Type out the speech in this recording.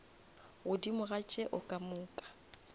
godimo ga tšeo ka moka